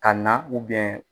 Ka na